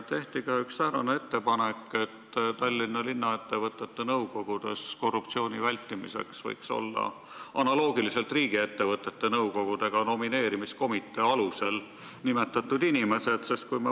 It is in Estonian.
Tehti ka üks säärane ettepanek, et Tallinnas võiks linnaettevõtete nõukogudes korruptsiooni vältimiseks olla analoogiliselt riigiettevõtete nõukogudega nomineerimiskomitee ettepaneku alusel nimetatud inimesed.